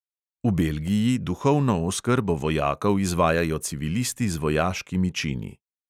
V belgiji duhovno oskrbo vojakov izvajajo civilisti z vojaškimi čini.